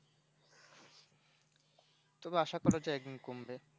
তবে আশা করা যায় একদিন কমবে